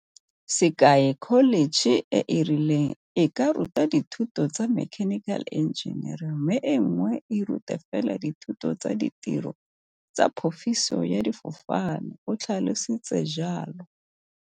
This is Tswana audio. Sekai, kholetšhe e e rileng e ka ruta dithuto tsa mechanical engineering mme e nngwe e rute fela dithuto tsa ditiro tsa phofiso ya difofane, o tlhalosi tse jalo.